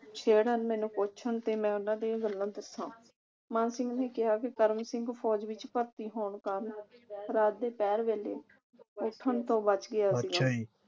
ਛੇੜਣ ਮੈਨੂੰ ਪੁਛਣ ਤੇ ਮੈਂ ਉਨ੍ਹਾਂ ਦੀਆਂ ਗੱਲਾਂ ਦੱਸਾਂ। ਮਾਨ ਸਿੰਘ ਨੇ ਕਿਹਾ ਕਿ ਕਰਮ ਸਿੰਘ ਫੌਜ ਵਿਚ ਭਰਤੀ ਹੋਣ ਕਾਰਨ ਰਾਤ ਦੇ ਪਹਿਰ ਵੇਲੇ ਉੱਠਣ ਤੋਂ ਬੱਚ ਗਿਆ